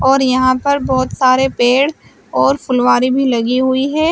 और यहां पर बहोत सारे पेड़ और फुलवारी भी लगी हुई है।